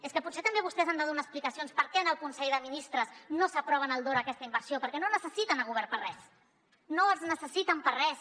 és que potser també vostès han de donar explicacions per què en el consell de ministres no s’aprova en el dora aquesta inversió perquè no necessiten el govern per a res no els necessiten per a res